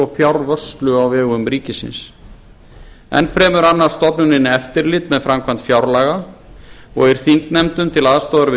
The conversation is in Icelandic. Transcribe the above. fjárvörslu á vegum ríkisins enn fremur annast stofnunin eftirlit með framkvæmd fjárlaga og er þingnefndum til aðstoðar við